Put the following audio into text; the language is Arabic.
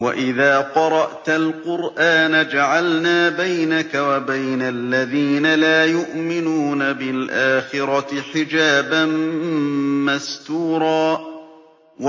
وَإِذَا قَرَأْتَ الْقُرْآنَ جَعَلْنَا بَيْنَكَ وَبَيْنَ الَّذِينَ لَا يُؤْمِنُونَ بِالْآخِرَةِ حِجَابًا مَّسْتُورًا